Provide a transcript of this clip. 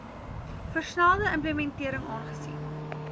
versnelde implementering aangesien